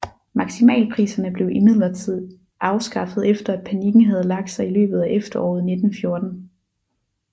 Maksimalpriserne blev imidlertid afskaffet efter at panikken havde lagt sig i løbet af efteråret 1914